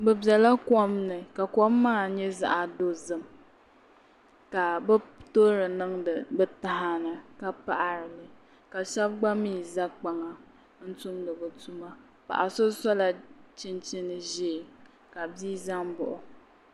Bi biɛla kom ni ka kom maa nyɛ zaɣ dozim ka bi toori niŋdi bi taha ni ka paɣarili ka shab gba mii ʒɛ kpaŋa n tumdi bi tuma paɣa so sola chinchin ʒiɛ ka bia ʒɛ n baɣa o